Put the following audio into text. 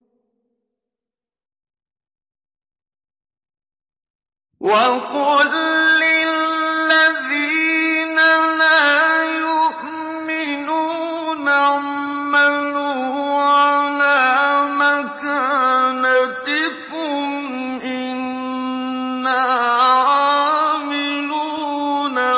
وَقُل لِّلَّذِينَ لَا يُؤْمِنُونَ اعْمَلُوا عَلَىٰ مَكَانَتِكُمْ إِنَّا عَامِلُونَ